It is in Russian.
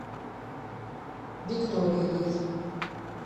викторией